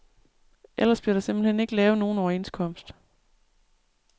Ellers bliver der simpelt hen ikke lavet nogen overenskomst.